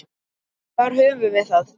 Þar höfum við það!